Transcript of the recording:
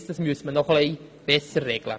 Das müsste noch etwas besser geregelt werden.